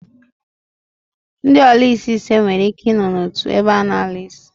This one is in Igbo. Ndi olaisi ise nwere Ike I no n'otu ebe a na-ala isi